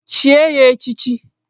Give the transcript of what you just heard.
Chie ya echichi!